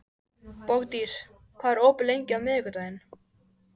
Bogdís, hvað er opið lengi á miðvikudaginn?